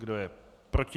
Kdo je proti?